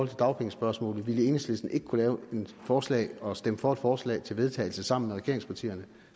dagpengespørgsmålet vil enhedslisten ikke kunne lave at forslag og stemme for et forslag til vedtagelse sammen med regeringspartierne